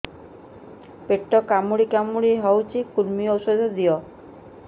ପେଟ କାମୁଡି କାମୁଡି ହଉଚି କୂର୍ମୀ ଔଷଧ ଦିଅ